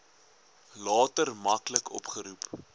later maklik opgeroep